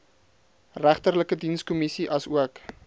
regterlike dienskommissie asook